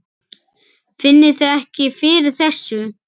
Finnið þið ekki fyrir þessu?